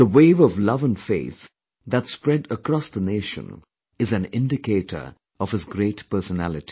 The wave of love and faith that spread across the nation is an indicator of his great personality